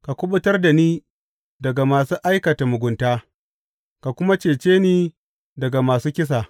Ka kuɓutar da ni daga masu aikata mugunta ka kuma cece ni daga masu kisa.